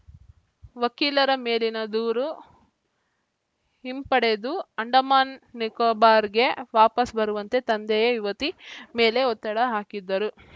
ವಕೀಲರ ಮೇಲಿನ ದೂರು ಹಿಂಪಡೆದು ಅಂಡಮಾನ್‌ ನಿಕೋಬಾರ್‌ಗೆ ವಾಪಸ್‌ ಬರುವಂತೆ ತಂದೆಯೇ ಯುವತಿ ಮೇಲೆ ಒತ್ತಡ ಹಾಕಿದ್ದರು